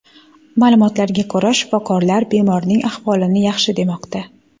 Ma’lumotlarga ko‘ra, shifokorlar bemorning ahvolini yaxshi demoqda.